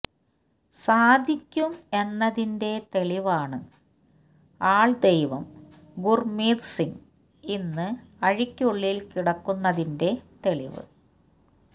സാധിക്കും എന്നതിന്റെ തെളിവാണ് ആൾദൈവം ഗുർമീത് സിങ്ങ് ഇന്ന് അഴിക്കുള്ളിൽ കിടക്കുന്നതിന്റെ തെളിവ്